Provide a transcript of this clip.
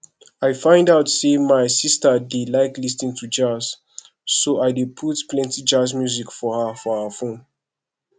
i find out say my sister dey like lis ten to jazz so i put plenty jazz music for her for her phone